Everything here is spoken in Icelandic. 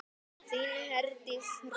Þín Herdís Rós.